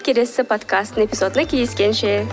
келесі подкастының эпизодында кездескенше